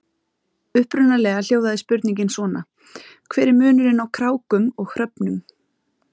Upprunalega hljóðaði spurningin svona: Hver er munurinn á krákum og hröfnum?